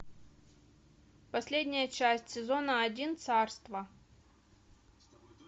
последняя часть сезона один царство